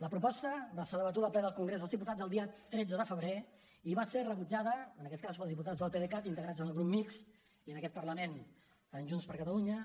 la proposta va ser debatuda al ple del congrés dels diputats el dia tretze de febrer i va ser rebutjada en aquest cas pels diputats del pdecat integrats en el grup mixt i en aquest parlament en junts per catalunya